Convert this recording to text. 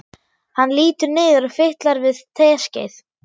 Hann lítur niður og fitlar við teskeið.